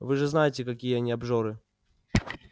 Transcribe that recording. вы же знаете какие они обжоры